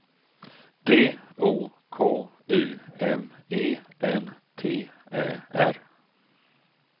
D O K U M E N T Ä R